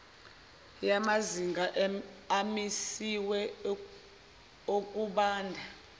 yamazinga amisiwe okubanda